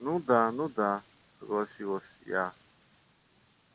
ну да ну да согласилась я